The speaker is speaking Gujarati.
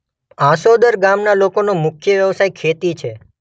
આંસોદર ગામના લોકોનો મુખ્ય વ્યવસાય ખેતી છે.